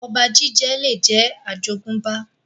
Ọba jíjẹ lè jẹ́ àjogúnbá